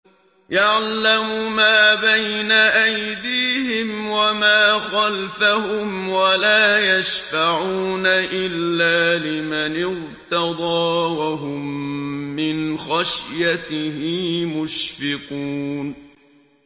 يَعْلَمُ مَا بَيْنَ أَيْدِيهِمْ وَمَا خَلْفَهُمْ وَلَا يَشْفَعُونَ إِلَّا لِمَنِ ارْتَضَىٰ وَهُم مِّنْ خَشْيَتِهِ مُشْفِقُونَ